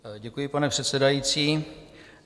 Děkuji, pane předsedající.